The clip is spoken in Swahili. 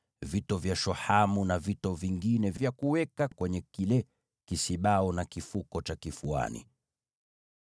na vito vya shohamu na vito vingine vya thamani vya kuweka kwenye kisibau na kile kifuko cha kifuani.